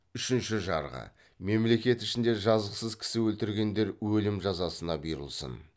үшінші жарғы мемлекет ішінде жазықсыз кісі өлтіргендер өлім жазасына бұйырылсын